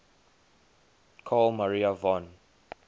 carl maria von